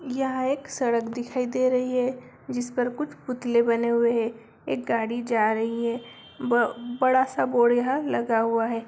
यह एक सड़क दिख दे रही है जिस पर कुछ पुतले बने हुए हैं एक गाड़ी जा रही है ब बड़ा सा बोर्ड लगा हुआ है ।